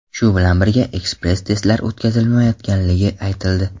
Shu bilan birga, ekspress testlar o‘tkazilmayotganligi aytildi.